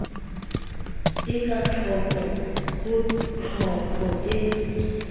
e kathoko ho tlhopho e